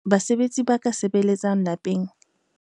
Basebetsi ba ka sebeletsang lapeng.